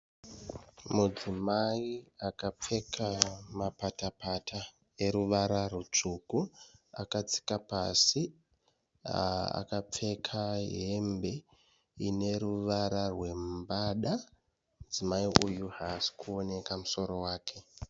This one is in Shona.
Mudzimai akapfeka mapata pata eruvara rutsvuku akatsika pasi. Akapfeka hembe ine ruvara rwembada. Mudzimai uyu haasi kuoneka musoro wake.